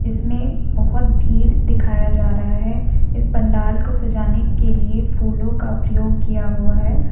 इसमें बहोत भीड़ दिखाया जा रहा है इस पंडाल को सजाने के लिए फूलों का प्रयोग किया हुआ है।